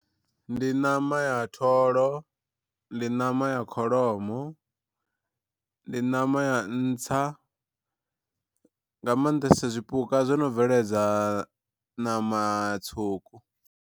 Ndi ṋama ya tholo ndi ṋama ya kholomo ndi ṋama ya ntsa nga maanḓesa zwipuka zwono bveledza ṋama tswuku.